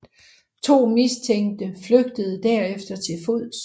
To mistænkte flygtede derefter til fods